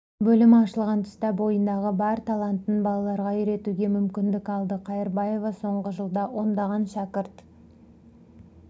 бөлімі ашылған тұста бойындағы бар талантын балаларға үйретуге мүмкіндік алды қайырбаева соңғы жылда ондаған шәкірт